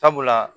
Sabula